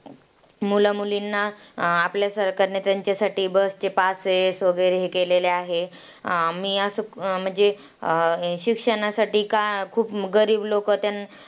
मुलामुलींना आपल्या सरकारने त्यांच्यासाठी bus चे passes वगैरे हे केलेले आहे. मी असं म्हणजे अं शिक्षणासाठी का खूप गरीब लोकं त्या,